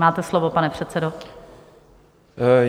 Máte slovo, pane předsedo.